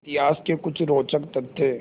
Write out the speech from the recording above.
इतिहास के कुछ रोचक तथ्य